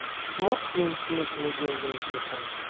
сможешь перекинуть мне деньги на телефон